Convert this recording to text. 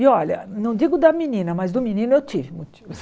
E olha, não digo da menina, mas do menino eu tive motivos.